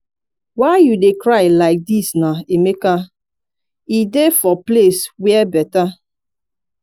why you dey cry like dis na emeka? e dey for place where better.